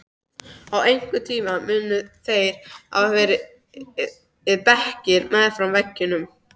Á einhverjum tíma munu þar hafa verið bekkir meðfram veggjum.